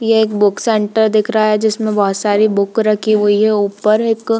ये एक book centre दिख रहा है जिसमें बहोत सारी बुक रखी हुइ है ऊपर एक --